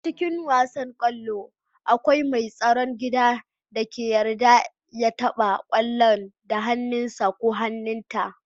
A cikin wasan kwallo, kawai mai tsaron gida ne ake yarda ya taba kwallon da hannunsa ko hannunta.